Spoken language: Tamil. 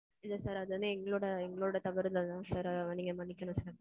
இல்ல sir. அது வந்து எங்களோட, எங்களோட தவறு தான் sir நீங்க மன்னிச்சிருங்க sir